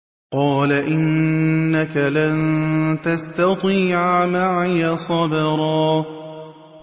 قَالَ إِنَّكَ لَن تَسْتَطِيعَ مَعِيَ صَبْرًا